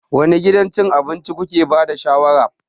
Wane gidan cin abinci kuke ba da shawarar?